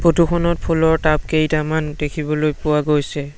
Photo খনত ফুলৰ tub কেইটামান দেখিবলৈ পোৱা গৈছে।